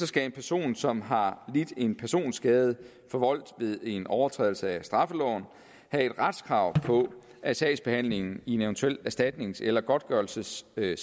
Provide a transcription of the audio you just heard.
skal en person som har lidt en personskade forvoldt ved en overtrædelse af straffeloven have et retskrav på at sagsbehandlingen i en eventuel erstatnings eller godtgørelsessag